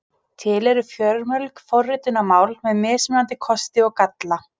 Til eru fjölmörg forritunarmál með mismunandi kosti og galla.